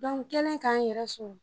n kɛlen ka n yɛrɛ sɔrɔ